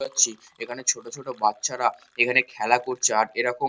দেখতে পাচ্ছি এখানে ছোট ছোট বাচ্চারা এখানে খেলা করছে । আর এরকম--